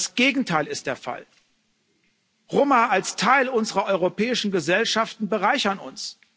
Das Gegenteil ist der Fall. Roma als Teil unserer europäischen Gesellschaften bereichern uns.